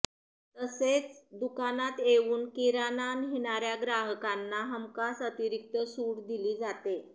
तसेह दुकानात येऊन किरणा नेणाऱ्या ग्राहकांना हमखास अतिरिक्त सूट दिली जाते